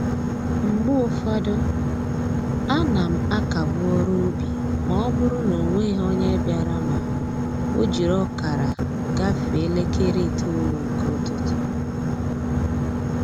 Mgbe ụfọdụ, a na m akagbu ọrụ ubi ma ọ bụrụ n'onweghị onye bịara ma o jiri ọkara gafee elekere itoolu nke ụtụtụ